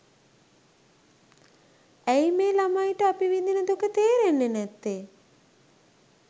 ඇයි මේ ළමයිට අපි විඳින දුක තේරෙන්නේ නැත්තේ